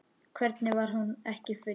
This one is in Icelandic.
Hvernig var hún ekki full?